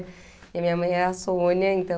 E a minha mãe é a Sônia, então...